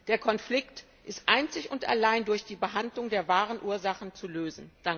Der Konflikt ist einzig und allein durch die Behandlung der wahren Ursachen zu lösen.